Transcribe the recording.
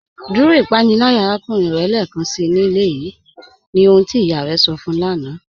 Dúró ìpànílàyà àràkùnrìn rẹ̀ lẹ́ẹkánsí ní ilẹ̀ yìí, ní ohun tí iyá rẹ̀ sọ̀ fún yọ̀ láńà.